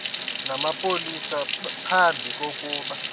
namapolisa phambi kokuba